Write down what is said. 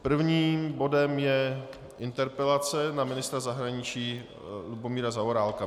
Prvním bodem je interpelace na ministra zahraničí Lubomíra Zaorálka.